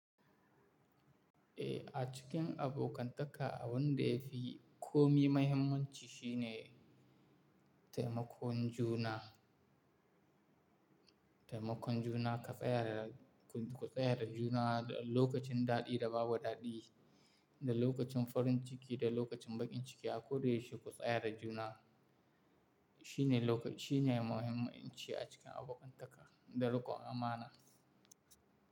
Eh, a cikin abokantaka abun da ya fi komi muhimmanci shine taimakon juna. Taimakon juna ka tsayar da, ku tsayar da juna lokacin daɗi da babu daɗi, da lokacin farin ciki da lokacin bakin ciki a koyaushe ku tsayar da juna. Shine lokacin, shine muhimmanci a cikin abokantaka da riƙon amana.